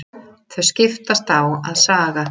Þau skiptast á að saga.